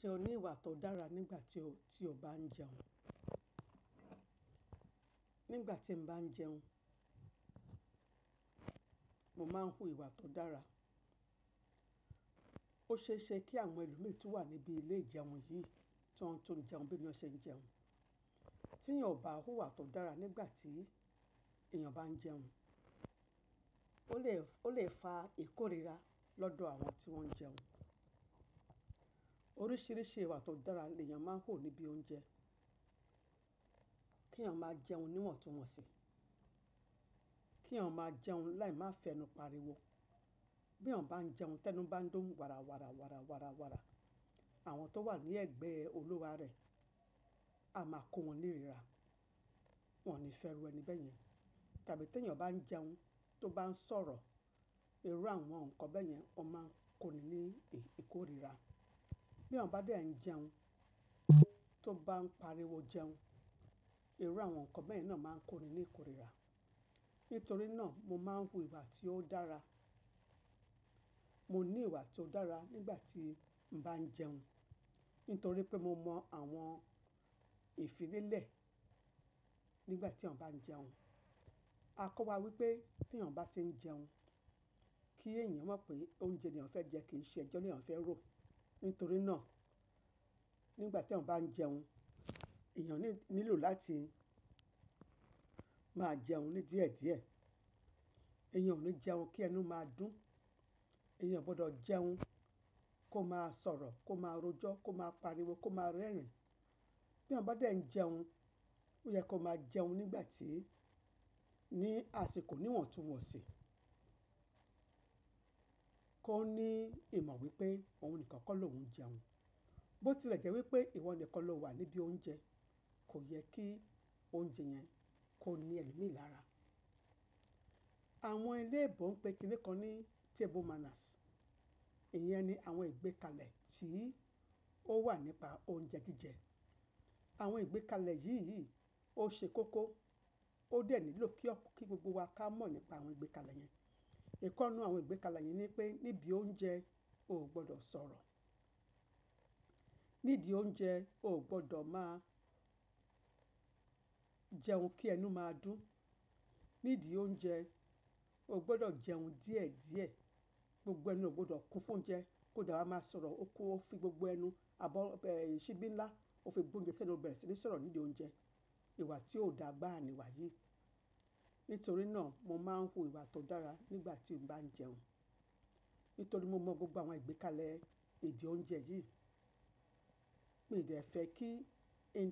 Ṣe o ni ìwà to dára nígbà ti o ba n jẹun? Nígbà temi ba n jẹun, mo ma n wu ìwà to dára. O ṣeese ki àwọn ẹlòmí tun wa nibi ilé ijeun yìí, ti won tun jẹun bi emi na se n jẹun. Ti eyàn o ba wu ìwà to dára nígbà ti eyàn ba n jẹun, o le fa ikorira lọ́dọ̀ àwọn tí wọn n jẹun. Orísírísi ìwà to dára ni ẹyàn ma n wu nibi oúnjẹ. Ki ẹyàn ma jẹun níwọ̀n tuwọn si, ki ẹyàn ma jẹun láì ma fe ẹnu pariwo. Bi ẹyàn ba n jẹun tẹnu ba n dùn warawara, àwọn to wa ni ẹgbẹ oluwa rẹ, a ma ko won ni rira, won o ni fẹru ẹni bẹyẹn. Tàbí ti ẹyàn ba n jeun, to o ba n sọ̀rọ̀, iru àwọn nkan bẹyẹn o ma n ko ni ní ikorira. Bi ẹyàn bá dẹ jẹun, to o ba n pariwo jẹun, iru àwọn nkan bẹyẹn náà ma n koni ní ikorira. Nítorí naa, mo ma n wu ìwà ti o dára. Moni ìwà to o dára, nígbà ti mo n ba n jẹun. Nítorí pe, mo mọ àwọn ìfilelé nígbà tí ẹyàn bá n jẹun. Akọ wa wípé ti ẹyàn bá ti n jẹun, ki eyàn mọ pe oúnjẹ ni ẹyàn fẹ jẹ, ki nṣe ẹjọ ni ẹyàn fẹ ro. Nítorí náà, nígbà ti ẹyàn bá n jẹun, ẹyàn nílò láti ma a jẹun ni díẹ̀díẹ̀. Eyàn o ni jẹun, ki ẹnu ma dùn. Eyàn gbọdọ jẹun ko máa sọ̀rọ̀, ko máa rojọ, ko máa pariwo, ko máa rẹ́rìn. Bi ẹyàn bá dẹ́ n jẹun, o yẹ ko máa jẹun ni àsìkò, níwọ̀n tuwọn si. Ko ni ìmọ̀ wípé, ohun nìkan kọ lohun jẹun. Bo tilẹ jẹ wípé ìwọ nìkan lo wa nidi oúnjẹ, ko yẹ ki oúnjẹ yẹn, ko ni i ẹlòmí lára. Àwọn ilébò n pe kinikan ni table manners. Ìyẹn ni àwọn ìgbékalẹ̀ tí ó wà nípa oúnjẹ jíjẹ. Àwọn ìgbékalẹ̀ yíyi o ṣe koko, o de ni lilo ki gbogbo wa ka mọ nípa àwọn ìgbékalẹ̀ yẹn. Ìken nínú àwọn ìgbékalẹ̀ yẹn ni pe nibi oúnjẹ o gbọdọ sọ̀rọ̀. Nídi oúnjẹ, o gbọdọ ma a jẹun, ki ẹnu ma dùn. Nídi ounje, o gbọdọ jẹun díẹ̀díẹ̀. Gbogbo ẹnu o gbọdọ kun fún oúnjẹ, ko dewa ma sọ̀rọ̀, kofi gbogbo ẹnu àbí síbí ńlá, o fi bu oúnjẹ sẹnú o bẹrẹ síi sọ̀rọ̀ nídi oúnjẹ. Ìwà tí ó dáa gbáà ni ìwà yìí. Nítorí náà, mo ma ń wu ìwà tó dára nígbà tí mo bá ń jẹun. Nítorí mo mọ gbogbo àwọn ìgbékalẹ̀ ìdí oúnjẹ yi. Mi dé fẹ́ kí ń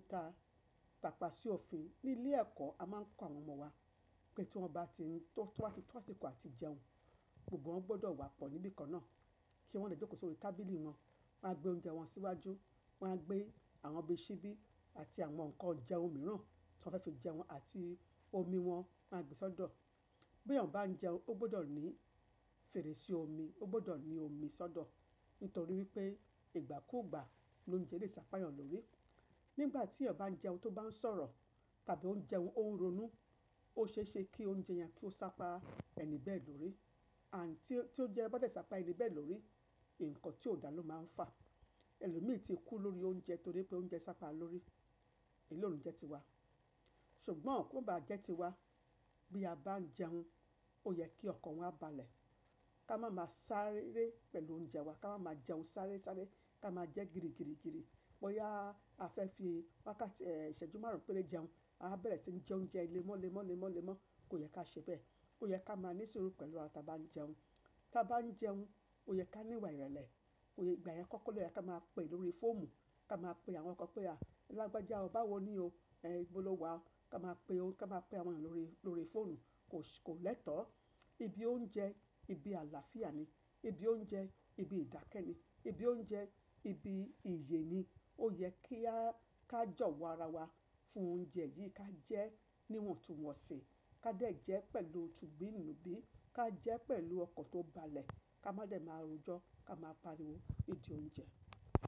tapà si òfin. Ní ilé ẹ̀kọ́, a máa ń kọ́ àwọn ọmọ wa, pé tó àsìkò àti jẹun gbogbo wọn gbọdọ̀ wa pọ̀ níbi kan náà, kí wọ́n lè jókòó sórí tábìlì wọn, wọ́n á gbé ounjé wọn síwájú, wọ́n á gbé àwọn ọ̀bẹ síbí àti àwọn nǹkan òuńjé míràn tí wọ́n fẹ́ fi jẹun, àti omi wọ́n, won á gbé sọ́dọ̀. Bí eyàn bá n jẹun, o gbọdọ̀ ni fèrèsé omi, o gbọdọ̀ ni omi sódò. Nítorí wípé, ìgbà kú ìgbà lóuńjé lè sápa ẹyàn lórí. Nígbà tí ẹyàn bá ń jẹun to o bá ń sọ̀rọ̀, tàbí ó ń jẹun, ó ń ronú, o ṣeéṣe kí oúnjẹ yẹn kí ó sápa ẹni bẹ́ẹ̀ lórí. And, tí óunjẹ́ bá dẹ̀ sápa ẹni bẹ́ẹ̀ lórí, ǹkan tí ó dà ló máa ń fà. Ẹlòmí ti kú lórí oúnjẹ, torí pé oúnjẹ sápa lórí. Iru e o ní jé tiwá. Sùgbọ́n kò bà á jẹ́ ti wa. Bí a bá ń jẹun, ó yẹ kí ọkọ wọn bálẹ̀. Ka má máa sáré pẹ̀lú óuńjẹ wa, ka má máa jẹun sáré sáré, ka máa jẹ́ gírígírígírí. Bóyá a fẹ́ fi wákàtì, ìṣẹ́jú márùn-ún péré jẹun, a á bẹ̀rẹ̀ sí ní jẹ oúnjẹ ilẹ̀ mọ́lẹ̀mọ́lẹ̀ mọ́lẹ̀mọ́, kò yẹ kí a se bẹ́. Ó yẹ kí a máa ní sùúrù pẹ̀lú ara tí a bá ń jẹun. Tí a bá ń jẹun, ó yẹ kí a ní ìwà ìrẹ̀lẹ̀. Ìgbà èyí kọ́ kọ́ ló yẹ kí a máa pè lórí fóòmù kí a máa pe àwọn kan pé, "À, elágbẹ́jà o bá wá ni o. Eh, bóló wa." Kí a máa pè óun, kí a máa pe àwọn yan lórí, lórí fóònù, kò, kò lẹ́tọ̀ọ́. Ibi oòje n, ibi àlàáfíà ni. Ibi oúnjẹ ibi ìdáké ni ibi oúnjẹ, ibi ìyé ni. Ó yẹ kí a ká jọ̀wó ara wa fún oúnjẹ yìí, kí a jẹ níwọ̀n tuwọ̀n sí, ká dẹ̀ jẹ́ pẹ̀lú tùbí nùbí, ká jẹ́ pẹ̀lú ọkọ̀ tó bálẹ̀, ka má dẹ̀ máa rojọ́, ka máa pariwo. Ìdí oúnjẹ.